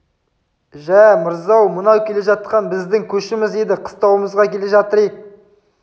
жә мырза мынау келе жатқан біздің көшіміз еді қыстауымызға келе жатыр ек